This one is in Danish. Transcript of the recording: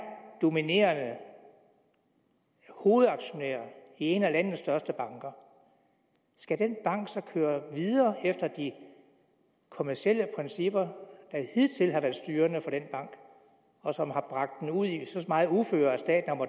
dominerende hovedaktionær i en af landets største banker skal den bank så køre videre efter de kommercielle principper der hidtil har været styrende for den bank og som har bragt den ud i så meget uføre at staten